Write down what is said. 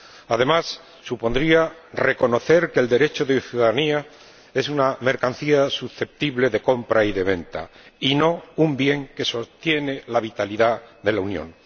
Además, supondría reconocer que el derecho de ciudadanía es una mercancía susceptible de compra y de venta, y no un bien que sostiene la vitalidad de la Unión.